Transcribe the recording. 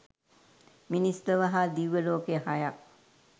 මිනිස් ලොව හා දිව්‍ය ලෝක හයත්